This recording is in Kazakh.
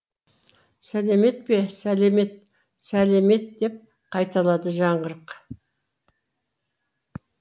сәлемет пе сәлемет сәлемет деп қайталады жаңғырық